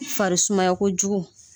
Farisumay kojugu.